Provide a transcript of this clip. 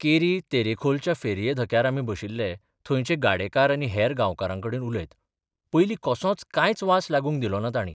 केरी तेरेखोलच्या फेरये धक्यार आमी बशिल्ले थंयचे गाडेकार आनी हेर गांवकारांकडेन उलयत पयलीं कसोच कांयच बास लागूंक दिलोना तांणी.